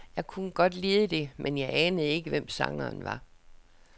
Jeg kunne godt lide det, men jeg anede ikke, hvem sangeren var.